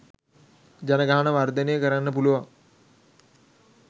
ජනගහනය වර්ධනය කරන්න පුළුවන්